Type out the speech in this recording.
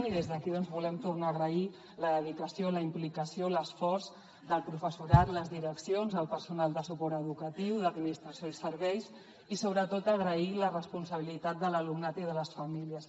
i des d’aquí doncs volem tornar a agrair la dedicació la implicació l’esforç del professorat les direccions el personal de suport educatiu d’administració i serveis i sobretot agrair la responsabilitat de l’alumnat i de les famílies